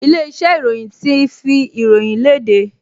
Ilé-iṣẹ́ ìròyìn ti fi ìròyìn le léde